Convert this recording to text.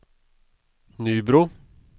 Nybro